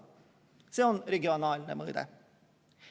See on regionaalne mõõde.